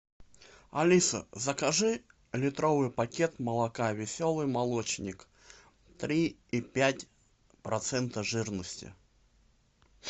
алиса закажи литровый пакет молока веселый молочник три и пять процента жирности